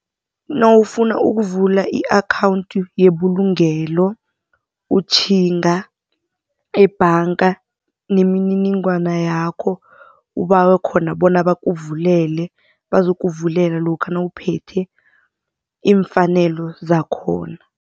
Nawufuna ukuvula i-akhawunthi yebulungelo utjhinga ebhanga nemininingwana yakho ubawe khona bona bakukuvulele bazokuvulela lokha nawuphethe iimfanelo zakhona.